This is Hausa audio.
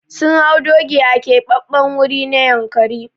Sun hau doki a Keɓaɓɓen wuri na Yankari.